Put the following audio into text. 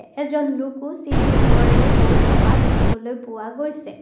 এজন লোকও চিৰি ওপৰেৰে গৈ থকা দেখিবলৈ পোৱা গৈছে।